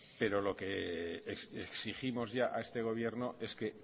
pero lo que exigimos ya a este gobierno es que